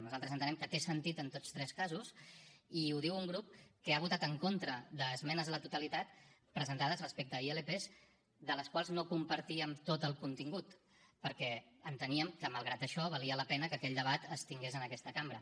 nosaltres entenem que té sentit en tots tres casos i ho diu un grup que ha votat en contra d’esmenes a la totalitat presentades respecte a ilp de les quals no compartíem tot el contingut perquè enteníem que malgrat això valia la pena que aquell debat es tingués en aquesta cambra